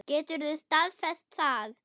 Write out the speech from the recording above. Geturðu staðfest það?